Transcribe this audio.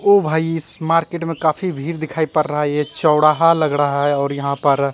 ओ भाई इस मार्केट में काफी भीड़ दिखाई पड़ रहा है एक चौड़ाहा लग रहा है और यहां पर--